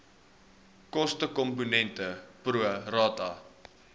kostekomponent pro rata